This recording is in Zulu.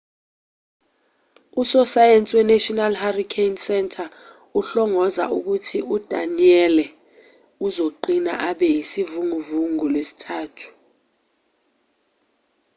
usosayensi wenational hurricane center uhlongoza ukuthi u-danielle uzoqina abe isivunguvungu ngolwesithathu